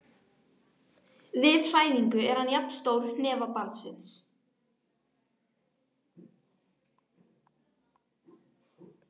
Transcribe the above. Við fæðingu er hann jafn stór hnefa barnsins.